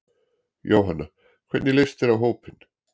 Jóhanna: Hvernig leist þér á hópinn?